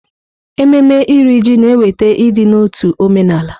Ememme Iri Ji na-eweta ịdị n'otu omenala.